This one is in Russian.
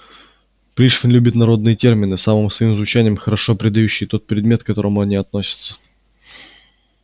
пришвин любит народные термины самым своим звучанием хорошо передающие тот предмет к какому они относятся